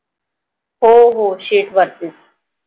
हो हो Sheet वरती